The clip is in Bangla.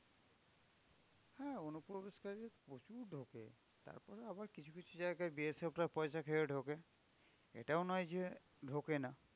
হ্যাঁ অনুপ্রবেশকারী প্রচুর ঢোকে। তারপরে আবার কিছু কিছু জায়গায় BSF রা পয়সা খেয়ে ঢোকে। এটাও নয় যে ঢোকে না।